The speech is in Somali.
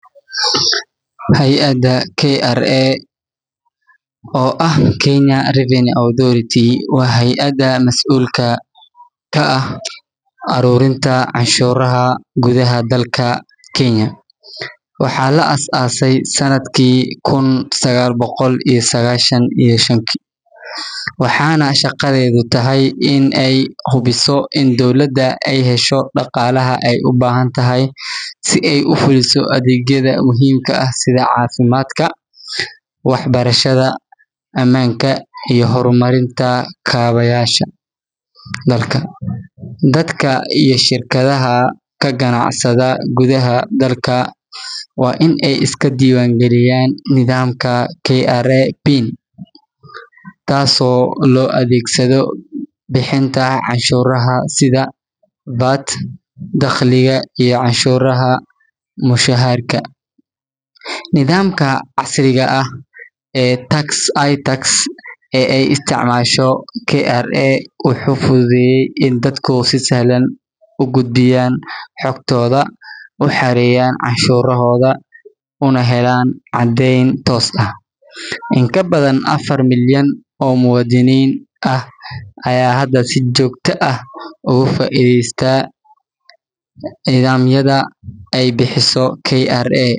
Hay’adda KRA, oo ah Kenya Revenue Authority, waa hay’adda masuulka ka ah ururinta canshuuraha gudaha dalka Kenya. Waxaa la aasaasay sannadkii kun sagaal boqol iyo sagaashan iyo shan, waxaana shaqadeedu tahay in ay hubiso in dowladda ay hesho dhaqaalaha ay u baahan tahay si ay u fuliso adeegyada muhiimka ah sida caafimaadka, waxbarashada, ammaanka iyo horumarinta kaabayaasha dalka. Dadka iyo shirkadaha ka ganacsada gudaha dalka waa in ay iska diiwaangeliyaan nidaamka KRA PIN, taasoo loo adeegsado bixinta canshuuraha sida VAT, dakhliga, iyo canshuurta mushaharka. Nidaamka casriga ah ee iTax ee ay isticmaasho KRA wuxuu fududeeyey in dadku si sahlan ugu gudbiyaan xogtooda, u xareeyaan canshuurahooda, una helaan caddeyn toos ah. In ka badan afar milyan oo muwaadiniin ah ayaa hadda si joogto ah uga faa’iideysta nidaamyada ay bixiso KRA,